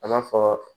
A b'a fɔ